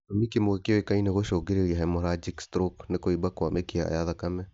Gĩtũmi kĩmwe kĩũkaine gĩcũngagĩrĩa hemorrhagic stroke nĩ kũimba kwa mĩkiha ya thakame